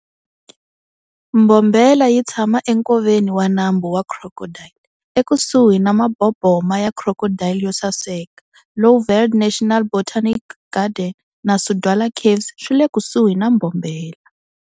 Mbombela yitshama enkoveni wa Nambu wa Crocodile, ekusuhi na maboboma ya Crocodile yo saseka. Lowveld National Botanical Garden na Sudwala Caves swile kusuhi na Mbombela.